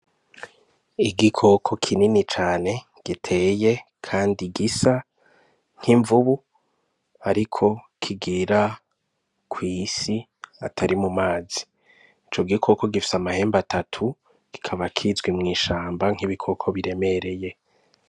Igikoko kinini cane giteye kandi gisa nk'imvubu ariko kigira kw'isi atari mu mazi. Ico gikoko gifise amahembe atatu, kikaba kizwi mw'ishamba nk'ibikoko biremereye.